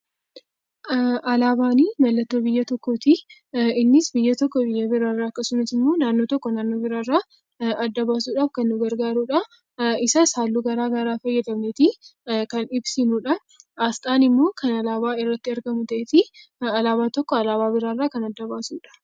Alaabaan mallattoo biyya tokkooti. Innis biyyi tokko biyya biraarraa yookiin naannoon tokko naannoo biraarraa adda baasuudhaaf nu gargaarudha. Isas halluu garaagaraa fayyadamnee kan ibsinudha. Asxaan immoo kan alaabaa irratti argamu ta'ee alaabaan tokko alaabaa biraarraa kan adda baasudha.